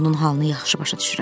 Onun halını yaxşı başa düşürəm.